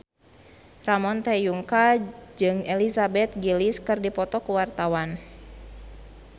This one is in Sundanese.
Ramon T. Yungka jeung Elizabeth Gillies keur dipoto ku wartawan